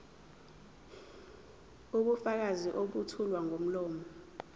ubufakazi obethulwa ngomlomo